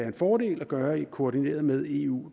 en fordel at gøre det koordineret med eu